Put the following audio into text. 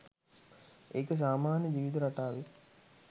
ඒක සාමාන්‍ය ජීවිත රටාවේ